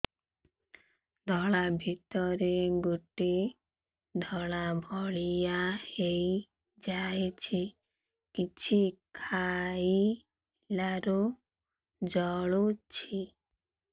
ଗଳା ଭିତରେ ଗୋଟେ ଧଳା ଭଳିଆ ହେଇ ଯାଇଛି କିଛି ଖାଇଲାରୁ ଜଳୁଛି